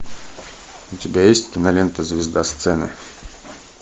у тебя есть кинолента звезда сцены